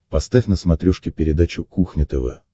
поставь на смотрешке передачу кухня тв